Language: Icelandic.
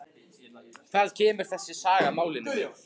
Hvað kemur þessi saga málinu við?